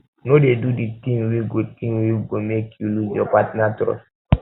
no dey do di tin wey go tin wey go make you loose your partner trust